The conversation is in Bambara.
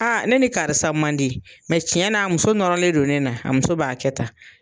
A ne ni karisa man di tiɲɛ n'a a muso nɔrɔlen don ne na a muso b'a kɛ tan.